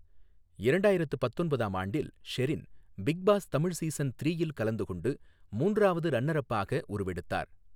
இரண்டாயிரத்து பத்தொன்பதாம் ஆண்டில் Sherin Bigg Boss Tamil season த்ரீயில் கலந்து கொண்டு மூன்றாவது ரன்னர் அப் ஆக உருவெடுத்தார்.